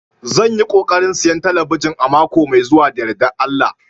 Zan yi kokarin siyan talabijin a mako mai zuwa da yardar Allah